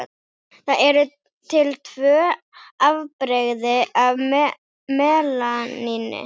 Það eru til tvö afbrigði af melaníni.